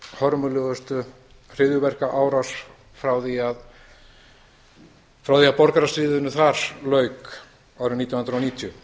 hörmulegustu hryðjuverkaárás frá því borgarastríðinu þar lauk árið nítján hundruð níutíu